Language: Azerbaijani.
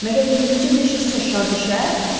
Məgər yüngülcə deşsə şar düşər?